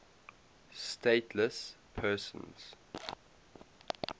stateless persons